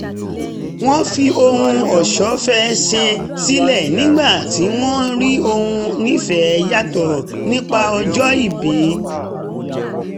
wọ́n fi ohun ọ̀ṣọ́ fẹ́ ṣe sílẹ̀ nígbà tí wọ́n rí ohun nífẹ̀ẹ́ yàtọ̀ nípa ọjọ́ ìbí